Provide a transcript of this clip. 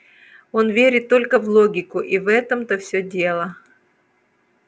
он верит только в логику и в этом-то всё дело